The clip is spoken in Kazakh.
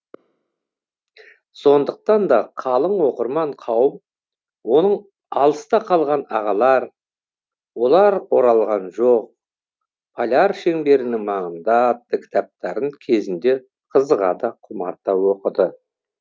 сондықтан да қалың оқырман қауым оның алыста қалған ағалар олар оралған жоқ поляр шеңберінің маңында атты кітаптарын кезінде қызыға да құмарта оқыды